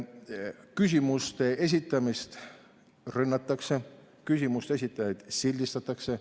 Küsimuste esitamist rünnatakse, küsimuste esitajaid sildistatakse.